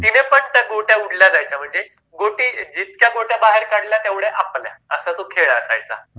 तिने पण त्या गोट्या उडल्या म्हणजे जीतक्या गोट्या बाहेर काढल्या तेवढ्या आपल्या असा तो खेळ असायचा